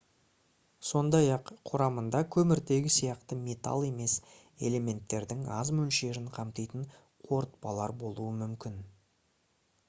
сондай-ақ құрамында көміртегі сияқты металл емес элементтердің аз мөлшерін қамтитын қорытпалар болуы мүмкін